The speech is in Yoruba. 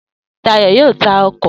Dayo yóò ta ọkọ̀